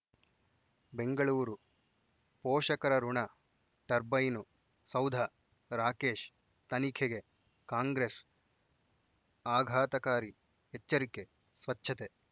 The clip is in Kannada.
ಬೆಂಗಳೂರು ಪೋಷಕರಋಣ ಟರ್ಬೈನು ಸೌಧ ರಾಕೇಶ್ ತನಿಖೆಗೆ ಕಾಂಗ್ರೆಸ್ ಆಘಾತಕಾರಿ ಎಚ್ಚರಿಕೆ ಸ್ವಚ್ಛತೆ